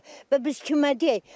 Və biz kimə deyək?